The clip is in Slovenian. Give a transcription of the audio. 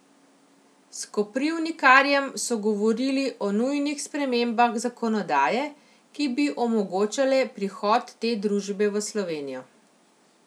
S Koprivnikarjem so govorili o nujnih spremembah zakonodaje, ki bi omogočale prihod te družbe v Slovenijo.